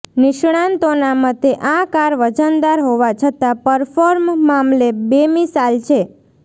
નિષ્ણાંતોના મતે આ કાર વજનદાર હોવા છતાં પરફોર્મ મામલે બેમિસાલ છે